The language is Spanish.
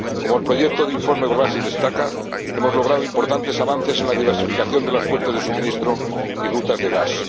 Como el proyecto de informe Gróbarczyk destaca, hemos logrado importantes avances en la diversificación de las fuentes de suministro y rutas de gas.